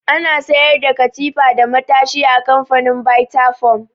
Ana sayar da katifa da matashi a kamfanin bita foam